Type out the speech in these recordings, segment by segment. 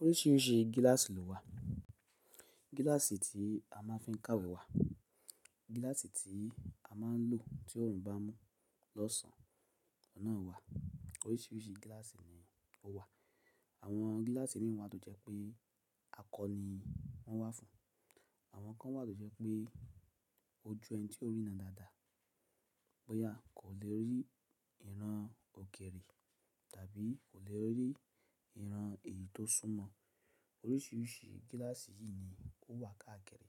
Oríṣiríṣi gíláàsì ló wà. Gíláàsì tí a máa ń fi ń kàwé wà. Gíláàsì tí a máa ń lò tí òòrùn bá n mú lọ́sàn oun náà wà. Oríṣiríṣi gíláàsì ni ó wà. Àwọn gíláàsì miran wa to jẹ pé akọ ni wọ́n wá fún. Àwọn kan wà tó jẹ́ pé ojú ẹni tí kò rína dáadáa, bóyá kò lè rí ìran òkèrè tàbí kò lè rí ìran èyí tó súnmọ́. Oríṣiríṣi gíláàsì yìí ni ó wà káàkiri.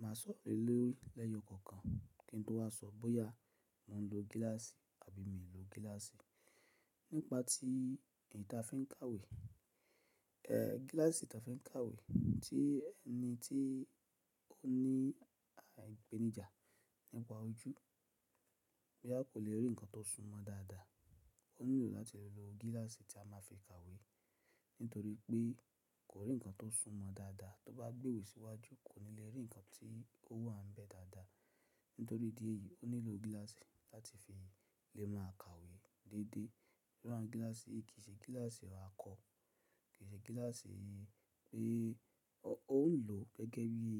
Màá sọ̀rọ̀ lee lori lẹ́yọ kọ̀ọ̀kan kí n tó wá sọ bóyá mòún lo gíláàsì àbí mi ò lo gíláàsì. Nípa tí eyi ti a fi ń kàwé, eh gíláàsì tí a fi ń kàwé tí ẹni tí ó ní ipenija nípa ojú, bóyá kò lè rí ǹkan tó súnmọ́ dáadáa, ó nílò láti lo gíláàsì tí a máa fi kàwé. Nítorí pé kò rí ǹkan tó súnmọ́ dáadáa, tó bá gbéwèé síwájú kò ní lè rí ǹkan tí ó wà n bẹ́ẹ̀ dáadáa. Nítorí idi eyìí ó nílò gíláàsì láti fi lè máa kàwé dédé. Irú àwọn gíláàsì kì í ṣe gíláàsì àkọ, kì í ṣe gíláàsì pé ó ń lò gẹ́gẹ́ bí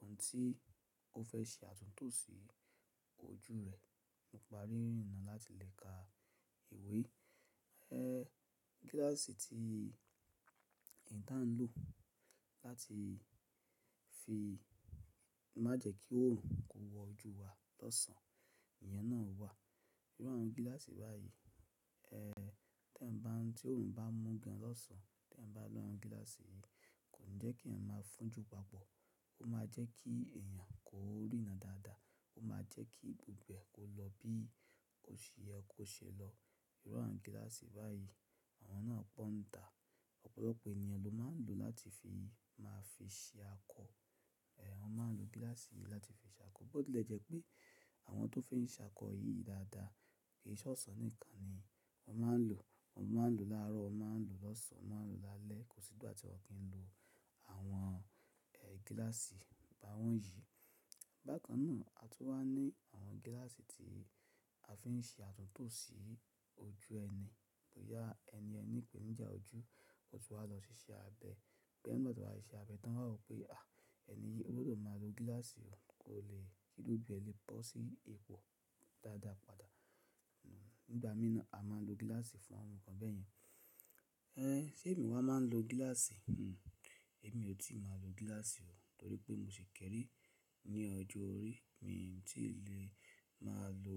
ohun tí ó fẹ́ ṣe àtúntò sí ojú rẹ̀ nípa rírina láti lè ka ìwé. Ẹh gíláàsì tí èyí ti a ń lò láti fi má jẹ́ kí òòrùn kó wọ ojú wa lọ́sàn. Ìyẹn náà wà. Irú àwọn gíláàsì báyìí, tí èèyàn bá, tí òòrùn bá mú gan lọ́sàn tí èèyàn bá lo àwọn gíláàsì yìí kò ni jẹ́ kí èèyàn máa fún'jù papọ̀. Ó máa jẹ́ kí èèyàn kó rína dáadáa. Ó máa jẹ́ kí gbogbo ẹ kó lọ bí o ṣe yẹ kò ṣe lọ. Irú àwọn gíláàsì báyìí àwọn náà pọ̀ n ta. Ọ̀pọ̀lọpọ̀ èèyàn ló máa ń lò láti fi máa fi ṣe akọ. Ẹh wọn máa ń lo gíláàsì yìí láti fi ṣe akọ. Bó tílẹ jẹ́ pé àwọn tó fi ń ṣe akọ yìí dáadáa, kì í ṣe ọsan nìkan ni wọ́n máa ń lò. Wọn máa ń lò láàárọ̀, wọ́n máa ń lò lọ́sàn, wọ́n máa ń lò lálẹ́. Kò sí ìgbà tí wọ́n o kì n lo àwọn eh gíláàsì bá wọ́n yìí. Bákan náà, a tún wá ní àwọn gíláàsì tí a fi ń ṣe àtúntò sí ojú ẹni. Bóyá ẹni yẹn ni ìpèníjà ojú, ó tún wá lọ ṣiṣẹ́ abẹ. Bẹ́ẹ̀ nigba to wà ṣiṣẹ́ abẹ tán wọn wá rò pé, à ẹni yìí gbọdọ̀ máa lo gíláàsì o, kò lè kí ojú rẹ lè bọ sí ipò dáadáa padà. Nígbà mí náà, a máa ń lo gíláàsì fún àwọn nǹkan bẹ́ẹ̀ yẹn. Eh ṣe èmi wá máa ń lo gíláàsì? Hmm èmi ò tíì máa lo gíláàsì o. Nítorí pé mo ṣì kéré ní ọjọ́ orí, mi ò tí lè máa lo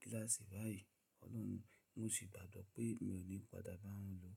gíláàsì báyìí. Ọlọ́run, mo sì gbàgbọ́ pé mi ò ní padà bá wọn lò.